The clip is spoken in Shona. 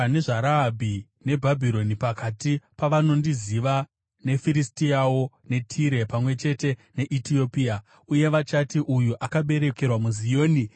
“Ndichanyora nezvaRahabhi neBhabhironi pakati pavanondiziva, neFiristiawo neTire, pamwe chete neEtiopia, uye vachati, ‘Uyu akaberekerwa muZioni.’ ”